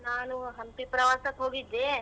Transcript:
ನಾನು ಹಂಪಿ ಪ್ರವಾಸಕ್ ಹೋಗಿದ್ದೆ.